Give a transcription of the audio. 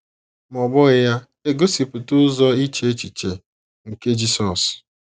Ma ọ́ bụghị ya - egosipụta ụzọ iche echiche nke Jisọs.